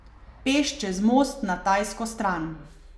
Peš čez most na tajsko stran.